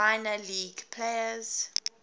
minor league players